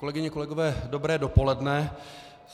Kolegyně, kolegové, dobré dopoledne.